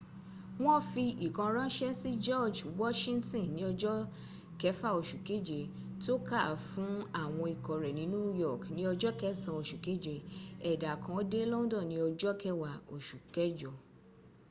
wọ́n fi ìkan ránṣẹ́ sí george washington ní ọjọ́ lẹfà oṣù kẹje tó kàá fún àwọn ikọ̀ rẹ ní new york ní ọja kẹssàn oṣù kẹje ẹ̀dà kan dé london ní ọja kẹwàá oṣù kẹjọ